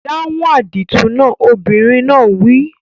Dáhùn àdìtú náà! Obìnrin náà wí.